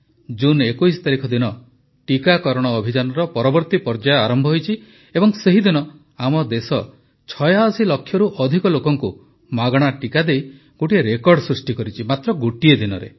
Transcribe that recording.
ଜୁନ ୨୧ ତାରିଖ ଦିନ ଟିକାକରଣ ଅଭିଯାନର ପରବର୍ତ୍ତୀ ପର୍ଯ୍ୟାୟ ଆରମ୍ଭ ହୋଇଛି ଏବଂ ସେହିଦିନ ଆମ ଦେଶ ୮୬ ଲକ୍ଷରୁ ଅଧିକ ଲୋକଙ୍କୁ ମାଗଣା ଟିକା ଦେଇ ଗୋଟିଏ ରେକର୍ଡ଼ ସୃଷ୍ଟି କରିଛି ମାତ୍ର ଗୋଟିଏ ଦିନରେ